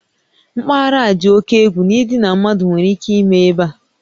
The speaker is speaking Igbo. Mpaghara a dị oke egwu na idina mmadụ nwere ike ime ebe a